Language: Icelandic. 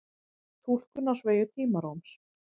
túlkun á sveigju tímarúms